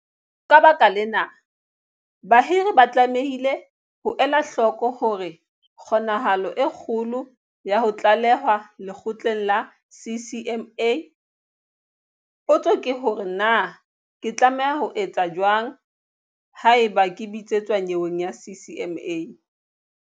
Ka baka lena, bahiri ba tlamehile ho ela hloko hore kgonahalo e kgolo ya ho tlalehwa lekgotleng la CCMA. Potso ke hore na ke tlameha ho etsa jwang ha eba ke bitsetswa nyeweng ya CCMA.